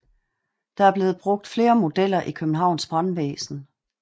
Der er blevet brugt flere modeller i Københavns Brandvæsen